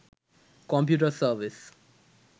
computer service